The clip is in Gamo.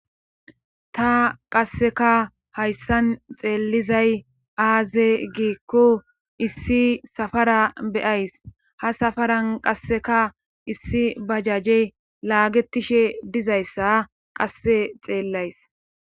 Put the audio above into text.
ta qasseka hayssan xeelizay aaze giikku issi safara beyays ha safaran qasseka issi bajaje laagetishe dizayssa qasse xeellays